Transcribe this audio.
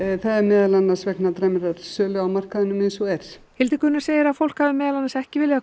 það er meðal annars vegna dræmrar sölu á markaðnum eins og er Hildigunnur segir að fólk hafi meðal annars ekki viljað